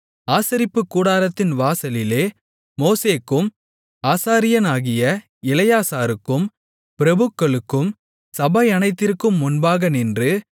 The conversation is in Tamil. ஆசரிப்புக்கூடாரத்தின் வாசலிலே மோசேக்கும் ஆசாரியனாகிய எலெயாசாருக்கும் பிரபுக்களுக்கும் சபையனைத்திற்கும் முன்பாக நின்று